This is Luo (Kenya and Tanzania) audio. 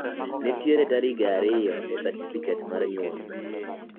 nitie karige ariyo e satifiket mar nyuol